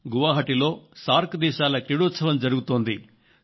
అలాగే దేశపు తూర్పు కొసన గౌహతి లో సార్క్ దేశాల క్రీడోత్సవం జరుగుతోంది